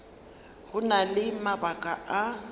go na le mabaka a